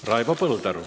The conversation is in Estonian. Raivo Põldaru.